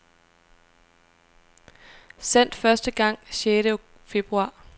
Sendt første gang sjette februar.